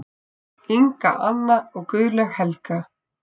Inga Anna og Guðlaug Helga.